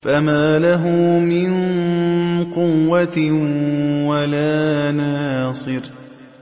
فَمَا لَهُ مِن قُوَّةٍ وَلَا نَاصِرٍ